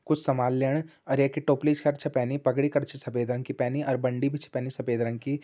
कुछ समान लैयण और येकी टोपली शर्ट छ पैनी पगड़ी कर छ सफेद रंग की पैनी अर बंडी भी छ पैनी सफ़ेद रंग की।